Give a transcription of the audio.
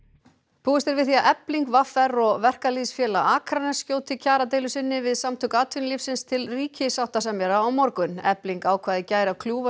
búist er við því að Efling v r og Verkalýðsfélag Akraness skjóti kjaradeilu sinni við Samtök atvinnulífsins til ríkissáttasemjara á morgun efling ákvað í gær að kljúfa